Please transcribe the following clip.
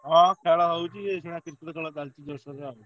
ହଁ ଖେଳ ହଉଛି ଏଇଖିନା Cricket ଖେଳ ଚାଲିଛି ଜୋରସରରେ ଆଉ।